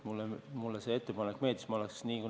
Mulle see ettepanek meeldis.